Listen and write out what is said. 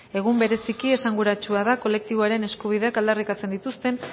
egun bereziki esanguratsua da kolektiboaren eskubideak aldarrikatzen dituzten